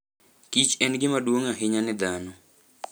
Kich en gima duong' ahinya ne dhano.